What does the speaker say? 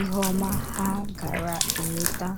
ihe ọma ha gaara enweta!